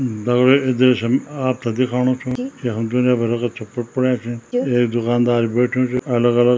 दगडियों जैसे म आपथे दिखाणु छौ यखम दुनिया भर को छुट पुट पुड्यां छीं एक दुकानदार भी बैठ्युं च अलग अलग --